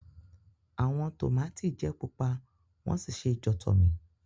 Awọn tomati jẹ pupa won si se jotomi.